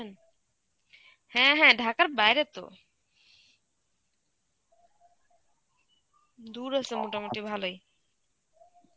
হ্যাঁ হ্যাঁ ঢাকার বাইরে তো. দূর আছে মোটামুটি ভালোই.